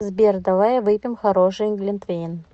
сбер давай выпьем хороший глинтвейн